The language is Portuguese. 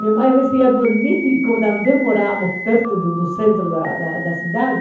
Minha mãe, às vezes, ia dormir, como também morávamos perto do do centro da cidade.